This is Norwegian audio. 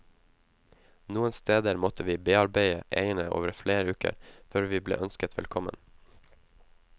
Noen steder måtte vi bearbeide eierne over flere uker, før vi ble ønsket velkommen.